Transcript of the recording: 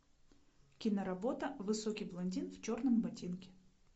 киноработа высокий блондин в черном ботинке